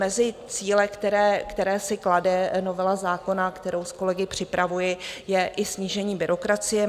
Mezi cíle, které si klade novela zákona, kterou s kolegy připravuji, je i snížení byrokracie.